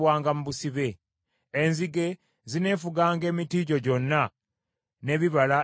Enzige zineefuganga emiti gyo gyonna n’ebibala eby’omu ttaka lyo.